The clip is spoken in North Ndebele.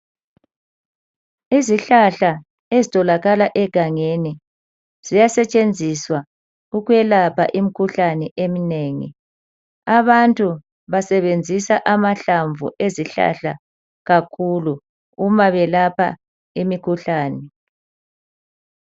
Izihlahla ezitholakala egangeni ziyasetshenziswa ukwelapha imikhuhlane eminengi. Abantu basebenzisa amahlamvu ezihlahla kakhulu uma belapha imikhuhlane.